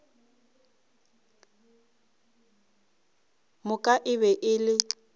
moka e be e le